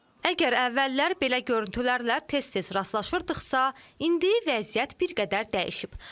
Əgər əvvəllər belə görüntülərlə tez-tez rastlaşırdıqsa, indi vəziyyət bir qədər dəyişib.